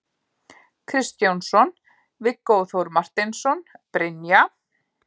Kristjánsson, Viggó Þór Marteinsson, Brynja